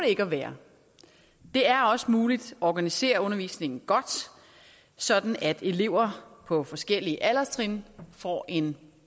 ikke at være det er også muligt at organisere undervisningen godt sådan at elever på forskellige alderstrin får en